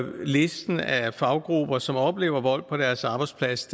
listen af faggrupper som oplever vold på deres arbejdsplads